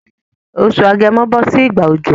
Oṣù agẹmo bọ́ sí ìgbà òjò